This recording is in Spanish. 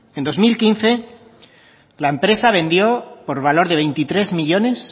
en dos mil quince la empresa vendió por valor de veintitrés millónes